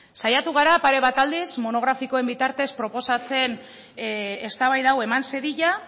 saiatu gara pare bat aldiz monografikoen bitartez proposatzen eztabaida hau eman zedila